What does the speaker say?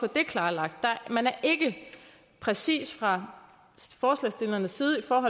det klarlagt man er ikke præcis fra forslagsstillernes side om